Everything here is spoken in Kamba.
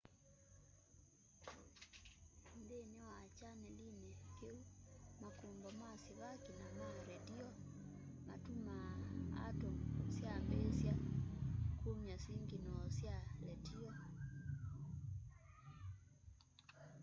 nthini wa chanelini kiu makumbo ma sivaki na ma redio matumaa atumu syambiisya kumya singinoo sya letio